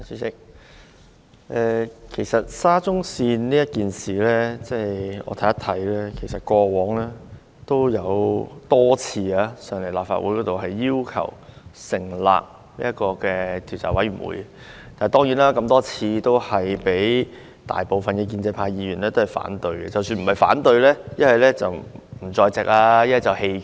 主席，就沙田至中環線的事件，我們過往曾多次在立法會要求成立調查委員會，但多次遭大部分建制派議員反對，即使不是表決反對，他們要不就缺席，要不就棄權。